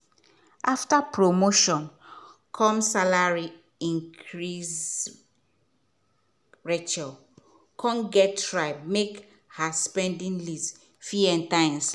after promotion come salary increase rachel come gats try make her spending list fit enter.